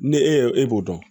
Ni e y'o e b'o dɔn